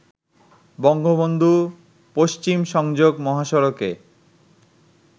বঙ্গবন্ধু পশ্চিম সংযোগ মহাসড়কে